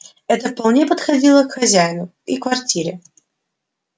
это вполне подходило и хозяину и квартире